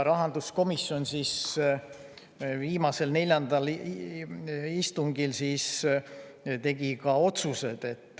Rahanduskomisjon tegi viimasel, neljandal istungil ka otsused.